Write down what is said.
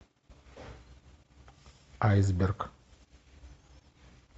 айсберг